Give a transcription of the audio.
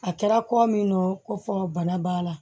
A kɛra kɔ min don ko fɔ bana b'a la